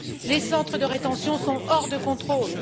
Les centres de rétention sont hors de contrôle.